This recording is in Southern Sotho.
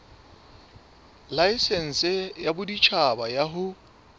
laesense ya boditjhaba ya ho